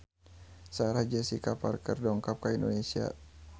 Sarah Jessica Parker dongkap ka Indonesia